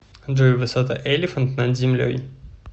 джой высота элефант над землей